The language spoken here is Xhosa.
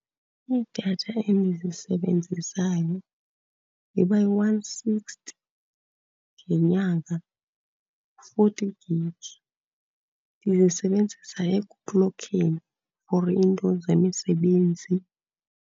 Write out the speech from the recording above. Idatha endizisebenzisayo iba yi-one sixty ngenyanga, u-forty gig. Ndiyisebenzisa ekuklokheni for iinto zemisebenzi.